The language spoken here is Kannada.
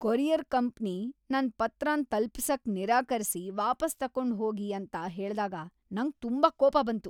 ಕೊರಿಯರ್ ಕಂಪನಿ ನನ್ ಪತ್ರನ್ ತಲ್ಪಿಸಕ್ ನಿರಾಕರಿಸಿ ವಾಪಾಸ್ ತಕೊಂಡು ಹೋಗಿ ಅಂತ ಹೇಳ್ದಾಗ ನಂಗ್ ತುಂಬಾ ಕೋಪ ಬಂತು.